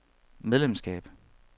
medlemskab